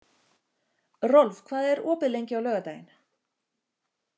Rolf, hvað er opið lengi á laugardaginn?